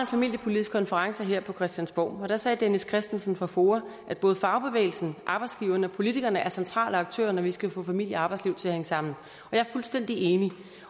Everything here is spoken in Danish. familiepolitisk konference her på christiansborg og da sagde dennis kristensen fra foa at både fagbevægelsen arbejdsgiverne og politikerne er centrale aktører når vi skal få familie og arbejdsliv til at hænge sammen jeg er fuldstændig enig